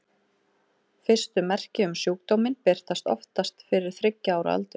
Fyrstu merki um sjúkdóminn birtast oftast fyrir þriggja ára aldur.